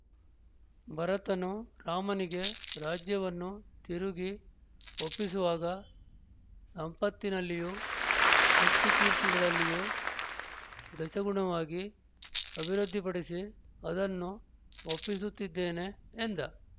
ಭರತನು ರಾಮನಿಗೆ ರಾಜ್ಯವನ್ನು ತಿರುಗಿ ಒಪ್ಪಿಸುವಾಗ ಸಂಪತ್ತಿನಲ್ಲಿಯೂ ಶಕ್ತಿಕೀರ್ತಿಗಳಲ್ಲಿಯೂ ದಶಗುಣವಾಗಿ ಅಭಿವೃದ್ಧಿಪಡಿಸಿ ಅದನ್ನು ಒಪ್ಪಿಸುತ್ತಿದ್ದೇನೆ ಎಂದ